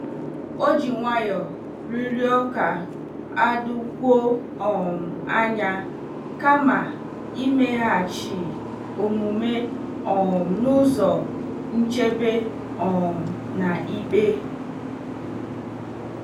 O ji nwayọọ rịọrọ ka a dokwuo um anya kama imeghachi omume um n'ụzọ nchebe um na ikpe.